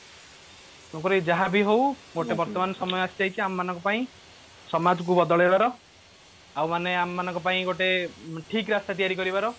ତେଣୁକରି ଯାହାବି ହଉ ଭି ବର୍ତମାନ ସମୟ ଆସିଯାଇଛି ଆମମାନଙ୍କ ପାଇଁ ସମାଜ କୁ ବଦଳେଇ ବାର ଆଉ ମଣେ ଆମମାନଙ୍କ ପାଇଁ ଗୋଟେ ଠିକ ରାସ୍ତା ତିଆରି କରିବାର